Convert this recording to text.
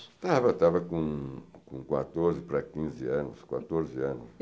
Estava, estava com quatorze para quinze anos, quatorze anos.